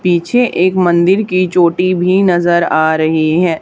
पीछे एक मंदिर की चोटी भी नज़र आ रही है।